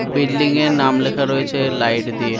Building - এর নাম লেখা রয়েছে লাইট দিয়ে।